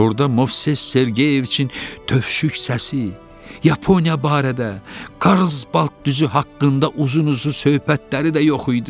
Orda Movses Sergeyeviçin tövşük səsi, Yaponiya barədə, Karlsbadt düzü haqqında uzun-uzun söhbətləri də yox idi.